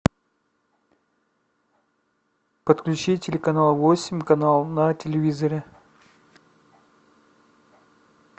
подключи телеканал восемь канал на телевизоре